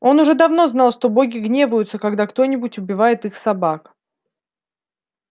он уже давно знал что боги гневаются когда кто нибудь убивает их собак